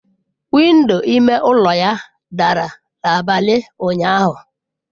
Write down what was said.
Window ime ụlọ ya dara n'abalị ụnyaahụ.